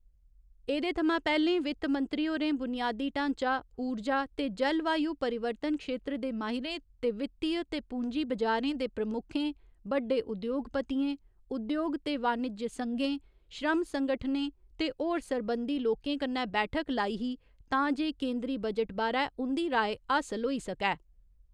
एहदे थमां पैह्‌ले वित्त मंत्री होरें बुनियादी ढांचा, ऊर्जा ते जलवायु परिवर्तन क्षेत्र दे माहिरें ते वित्तीय ते पूंजी बजारें दे प्रमुखें, बड्डे उद्योगपतियें, उद्योग ते वाणिज्य संघें, श्रम संगठनें ते होर सरबंधी लोकें कन्नै बैठक लाई ही तां जे केन्दरी बजट बारै उंदी राय हासिल होई सकै।